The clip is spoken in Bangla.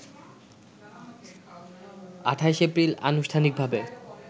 ২৮ এপ্রিল আনুষ্ঠানিকভাবে